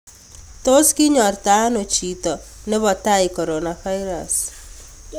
Tos kinyortaano chiito nepotai coronavirus?